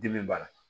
Dimi b'a la